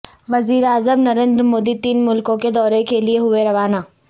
وزیر اعظم نریندر مودی تین ملکوں کے دورے کے لیئے ہوئے روانہ